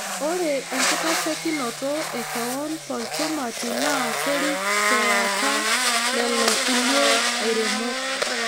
ORE ENKITASHEKINOTO E kewon tolchumati naa kerik TE ata lelo kulie airemok